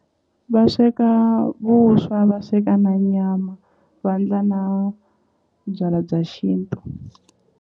Va sweka vuswa va sweka na nyama vandla na byala bya xintu.